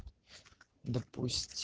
допусть